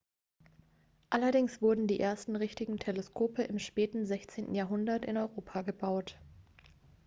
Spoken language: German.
allerdings wurden die ersten richtigen teleskope im späten 16. jahrhundert in europa gebaut